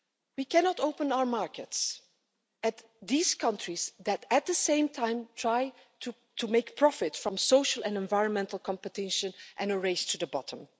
We cannot open our markets to these countries that at the same time try to profit from social and environmental competition and a race to the bottom.